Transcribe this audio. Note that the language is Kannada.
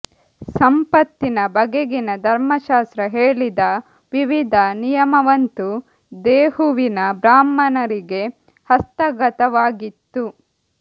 ಸಂಪತ್ತಿನ ಬಗೆಗಿನ ಧರ್ಮಶಾಸ್ತ್ರ ಹೇಳಿದ ವಿವಿಧ ನಿಯಮವಂತೂ ದೇಹೂವಿನ ಬ್ರಾಹ್ಮಣರಿಗೆ ಹಸ್ತಗತವಾಗಿತ್ತು